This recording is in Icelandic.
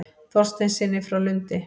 Þorsteinssyni frá Lundi.